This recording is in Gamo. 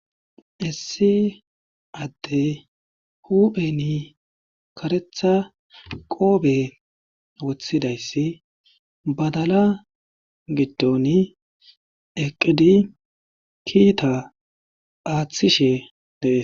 issi adde hupheni karetha qoobe wothidayssi badala giddon eqqidi kiita aaththishe deee.